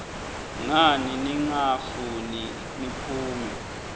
ngani ningafuni ngiphume